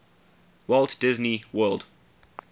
walt disney world